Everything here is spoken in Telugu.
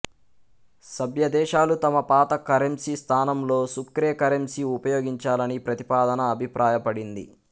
సభ్యదేశాలు తమ పాత కరెంసీ స్థానంలో సుక్రే కరెంసీ ఉపయోగించాలని ప్రతిపాదన అభిప్రాయపడింది